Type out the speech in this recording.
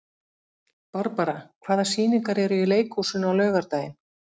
Barbara, hvaða sýningar eru í leikhúsinu á laugardaginn?